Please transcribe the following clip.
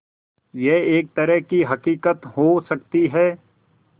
यह एक तरह की हक़ीक़त हो सकती है